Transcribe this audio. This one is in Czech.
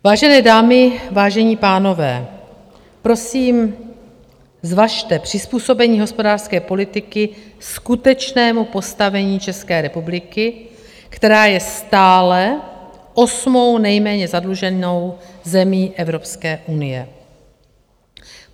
Vážené dámy, vážení pánové, prosím, zvažte přizpůsobení hospodářské politiky skutečnému postavení České republiky, která je stále osmou nejméně zadluženou zemí Evropské unie.